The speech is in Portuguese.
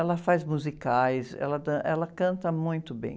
Ela faz musicais, ela, ela canta muito bem.